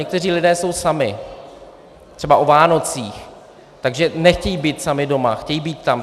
Někteří lidé jsou sami třeba o Vánocích, takže nechtějí být sami doma, chtějí být tam.